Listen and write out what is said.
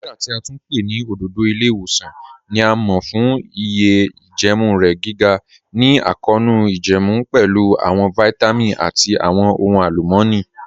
Moringa ti a tún pẹ̀ ni ọ̀dọ̀dọ̀ ilẹ̀-iwosan ni a mọ̀ fun iye ijẹẹmu rẹ, giga ni akọọnu ijẹẹmu, pẹ̀lú awọn vitamin ati awọn ọhun alumọni.